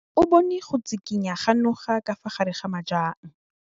O bone go tshikinya ga noga ka fa gare ga majang.